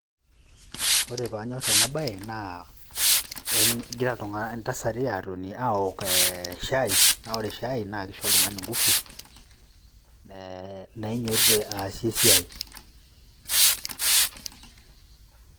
Ore paanyor ena baye naa egira ntasati atoni awok shai naa ore shai naa isho oltung'ani nguvu nainyototie aasie esiai.